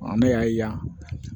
Ne y'a ye yan